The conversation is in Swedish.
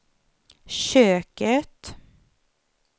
köket